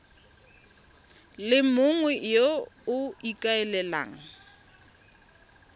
le mongwe yo o ikaelelang